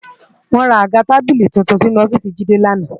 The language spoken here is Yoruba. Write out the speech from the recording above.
Wò rá tábìlí tútún sinú òfìsí Jide làná